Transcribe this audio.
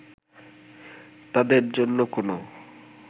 তাদরে জন্য কোন